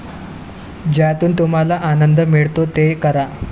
ज्यातून तुम्हाला आनंद मिळतो ते करा.